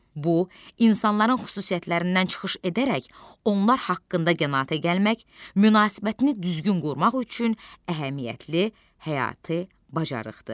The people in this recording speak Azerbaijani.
Bu, insanların xüsusiyyətlərindən çıxış edərək, onlar haqqında qənaətə gəlmək, münasibətini düzgün qurmaq üçün əhəmiyyətli həyati bacarıqdır.